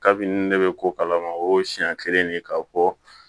Kabini ne bɛ ko kalama o ye siɲɛ kelen de k'a fɔ